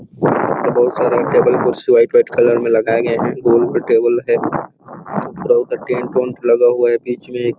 ऊपर में बहुत सारा टेबल कुर्सी व्हाइट - व्हाइट कलर में लगाए गए है गोल में टेबल है पूरा ऊपर टेंट - उंट लगा हुआ है बीच में एक --